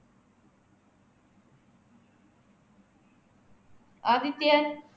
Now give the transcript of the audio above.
Adityan